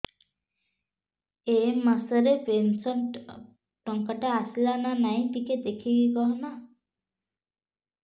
ଏ ମାସ ରେ ପେନସନ ଟଙ୍କା ଟା ଆସଲା ନା ନାଇଁ ଟିକେ ଦେଖିକି କହନା